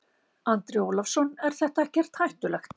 Andri Ólafsson: Er þetta ekkert hættulegt?